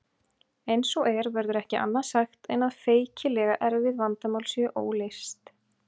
Eins og er verður ekki annað sagt en að feikilega erfið vandamál séu óleyst.